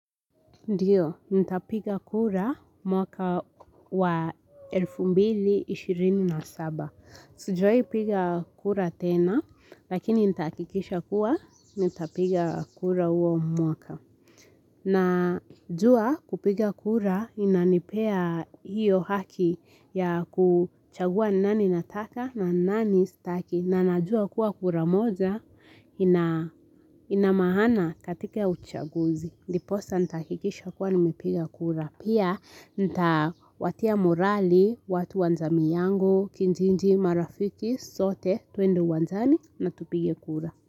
Ndio, nitapiga kura mwaka wa 2027. Sijawahi piga kura tena, lakini nitahakikisha kuwa nitapiga kura huo mwaka. Najua kupiga kura inanipea hiyo haki ya kuchagua ni nani nataka na ni nani staki. Na najua kuwa kura moja ina maana katika uchaguzi. Ndiposa nitahakikisha kuwa nimepiga kura. Pia nitawatia morali, watu wa jamii yangu, kijiji, marafiki, sote, tuende uwanjani na tupige kura.